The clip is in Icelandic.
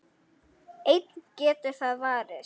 En getur það varist?